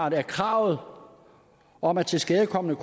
at kravet om at tilskadekomne